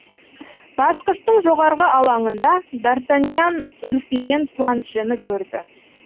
басқыштың жоғарғы алаңында д артаньян үрпиген планшені көрді